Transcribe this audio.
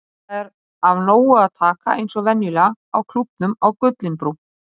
Það er af nógu að taka eins og venjulega á Klúbbnum á Gullinbrú.